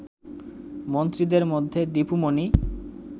মন্ত্রীদের মধ্যে দীপু মনি